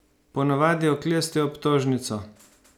Ponavadi oklestijo obtožnico.